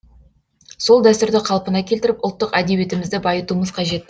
сол дәстүрді қалпына келтіріп ұлттық әдебиетімізді байытуымыз қажет